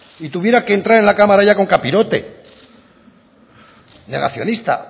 y tuviera que entrar en la cámara con capirote negacionista